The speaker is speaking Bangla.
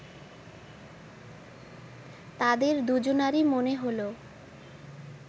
তাদের দুজনারই মনে হল